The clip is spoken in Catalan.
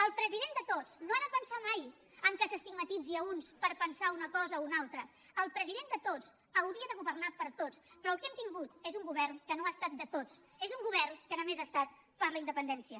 el president de tots no ha de pensar mai que s’estigmatitzi uns per pensar una cosa o una altra el president de tots hauria de governar per a tots però el que hem tingut és un govern que no ha estat de tots és un govern que només ha estat per la independència